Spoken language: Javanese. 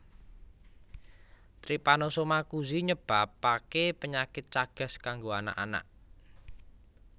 Trypanosoma Cruzi nyebabake penyakit chagas kanggo anak anak